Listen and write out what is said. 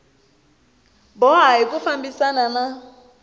boha hi ku fambisana na